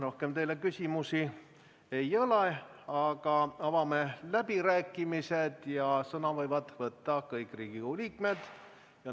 Rohkem teile küsimusi ei ole, aga avame läbirääkimised ja sõna võivad võtta kõik Riigikogu liikmed.